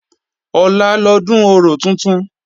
Ọ̀la lọ́dún orò tuntun